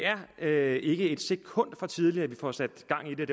er ikke et sekund for tidligt at vi får sat gang i det